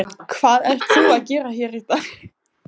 Hvað ert þú að gera hér í dag?